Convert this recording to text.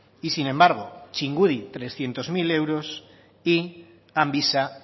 y sin embargo txingudi trescientos mil euros y amvisa